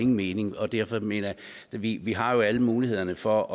mening derfor mener jeg vi vi har alle muligheder for